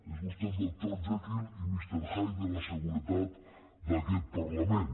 és vostè el doctor jekyll i mister hyde de la seguretat d’aquest parlament